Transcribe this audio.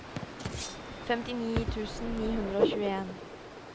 femtini tusen ni hundre og tjueen